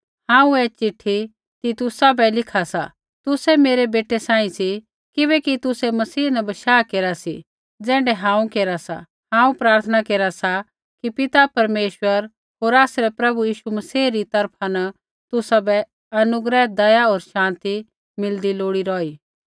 हांऊँ ऐ चिट्ठी तीतुसा बै लिखा सा तुसै मेरै बेटै सांही सी किबैकि तुसै मसीह न बशाह केरा सी ज़ैण्ढै हांऊँ केरा सा हांऊँ प्रार्थना केरा सा कि पिता परमेश्वर होर आसरै प्रभु यीशु मसीह री तरफा न तुसाबै अनुग्रह दया होर शान्ति मिलदी लोड़ी रौही